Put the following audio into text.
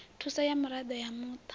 thuso ya miraḓo ya muṱa